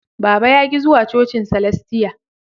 Baba ya ki zuwa cocin salastia